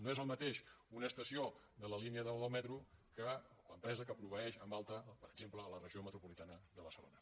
no és el mateix una estació de la línia nou del metro que l’empresa que proveeix en alta per exemple a la regió metropolitana de barcelona